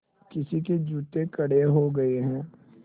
किसी के जूते कड़े हो गए हैं